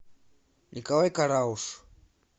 николай карауш